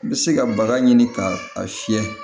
I bɛ se ka baga ɲini k'a fiyɛ